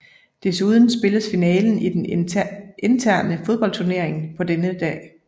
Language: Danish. Desuden spilles finalen i den interne fodboldturnering på denne dag